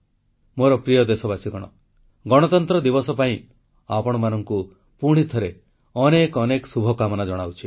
ମୋର ପ୍ରିୟ ଦେଶବାସୀ ଗଣତନ୍ତ୍ର ଦିବସ ପାଇଁ ଆପଣମାନଙ୍କୁ ପୁଣିଥରେ ଅନେକ ଅନେକ ଶୁଭକାମନା ଜଣାଉଛି